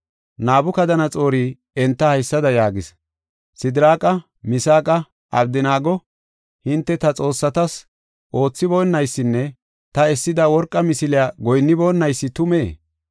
Nabukadanaxoori enta haysada yaagis: “Sidiraaqa, Misaaqa, Abdanaago, hinte ta xoossatas oothiboonaysinne ta essida worqa misiliya goyinniboonaysi tumee?